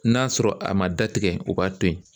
N'a sɔrɔ a ma datigɛ o b'a to yen.